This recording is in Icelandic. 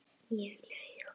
Ég laug.